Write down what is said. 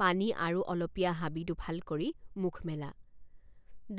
পানী আৰু অলপীয়া হাবি দুফাল কৰি মুখ মেলা